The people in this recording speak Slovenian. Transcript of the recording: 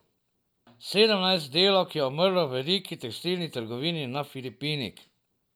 Sedemnajst delavk je umrlo v veliki tekstilni trgovini na Filipinih.